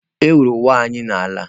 Ewuru ụwa anyị n'ala.